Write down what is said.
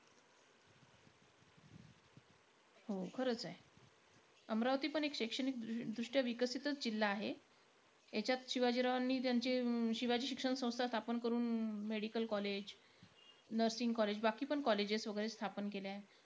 हो खरंच आहे. अमरावती पण एक शैक्षणिक दृ दृष्ट्या एक विकसितचं जिल्हा आहे. यांच्यात शिवाजीरावांनी ज्यांची अं शिवाजी शिक्षण संस्था स्थापन करून, medical college, nursing college. बाकीपण colleges वैगरे स्थापन केले आहेत.